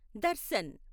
Darshan